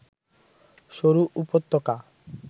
সরু উপত্যকা